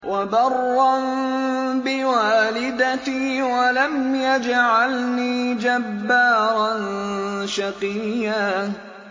وَبَرًّا بِوَالِدَتِي وَلَمْ يَجْعَلْنِي جَبَّارًا شَقِيًّا